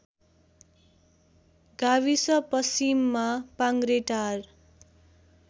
गाविस पश्चिममा पाङ्ग्रेटार